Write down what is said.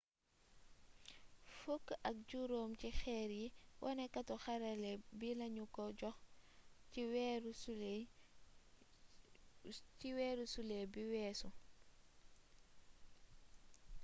fukk ak juróom ci xeer yi woné katu xarala bi lañu ko jox ci weeru sulet bi weesu